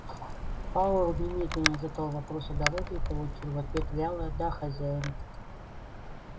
пауэлл немедленно задал вопрос о дороге и получил в ответ вялое да хозяин